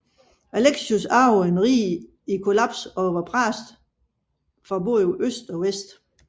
Alexios arvede et rige i kollaps og presset fra både øst og vest